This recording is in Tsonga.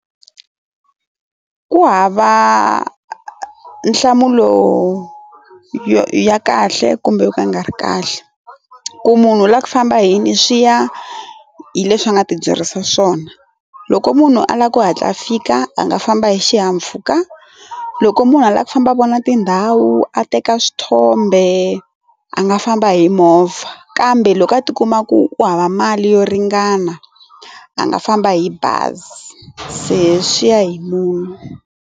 Ku hava nhlamulo yo ya kahle kumbe yo ka nga ri kahle, ku munhu u lava ku famba hi yini swi ya hi leswi a nga ti byerisa swona loko munhu a lava ku hatla fika a nga famba hi xihahampfhuka loko munhu a lava ku famba a vona tindhawu a teka swithombe a nga famba hi movha kambe loko a ti kuma ku u hava mali yo ringana a nga famba hi bazi se swi ya hi munhu.